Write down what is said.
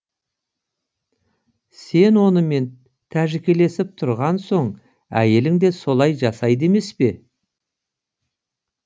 сен онымен тәжікелесіп тұрған соң әйелің де солай жасайды емес пе